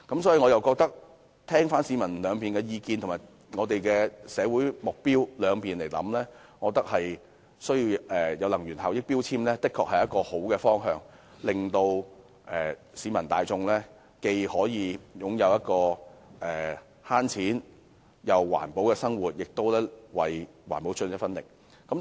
綜合考慮市民意見和社會目標後，我認為強制性標籤計劃的確是一個好方向，令市民大眾既可擁有省錢又環保的生活，也可為環保出一分力。